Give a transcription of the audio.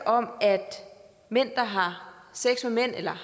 om at mænd der har sex med mænd eller